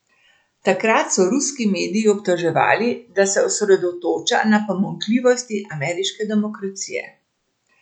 Takrat so ruski medij obtoževali, da se osredotoča na pomanjkljivosti ameriške demokracije.